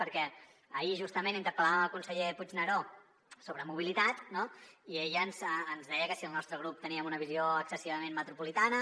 perquè ahir justament interpel·làvem el conseller puigneró sobre mobilitat i ell ens deia que si al nostre grup teníem una visió excessivament metropolitana